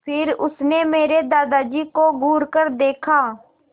फिर उसने मेरे दादाजी को घूरकर देखा